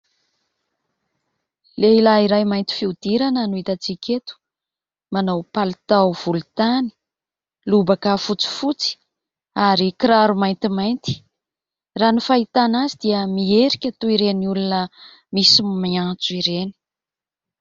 Lehilahy iray mainty fihodirana no hitantsika eto. Manao palitao volontany, lobaka fotsifotsy ary kiraro maintimainty. Raha ny fahitana azy dia mierika toy ireny olona misy miantso ireny.